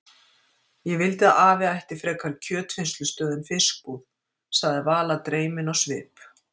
Ég vildi að afi ætti frekar kjötvinnslustöð en fiskbúð sagði Vala dreymin á svip.